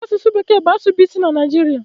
Asụsụ bekee bụ asụsụ bụ isi na Naịjirịa